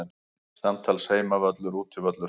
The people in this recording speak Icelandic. Samtals Heimavöllur Útivöllur